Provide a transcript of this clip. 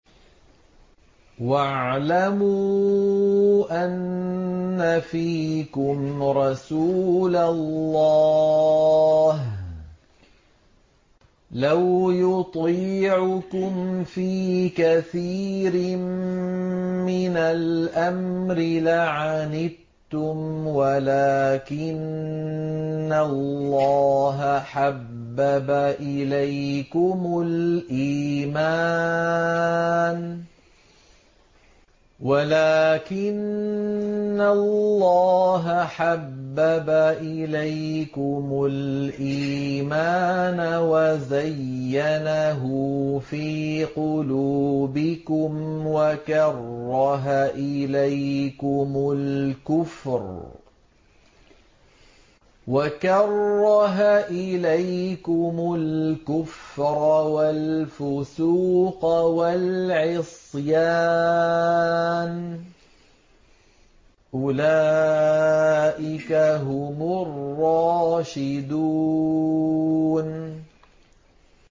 وَاعْلَمُوا أَنَّ فِيكُمْ رَسُولَ اللَّهِ ۚ لَوْ يُطِيعُكُمْ فِي كَثِيرٍ مِّنَ الْأَمْرِ لَعَنِتُّمْ وَلَٰكِنَّ اللَّهَ حَبَّبَ إِلَيْكُمُ الْإِيمَانَ وَزَيَّنَهُ فِي قُلُوبِكُمْ وَكَرَّهَ إِلَيْكُمُ الْكُفْرَ وَالْفُسُوقَ وَالْعِصْيَانَ ۚ أُولَٰئِكَ هُمُ الرَّاشِدُونَ